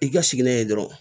I ka siginɛ ye dɔrɔn